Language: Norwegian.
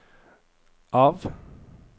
av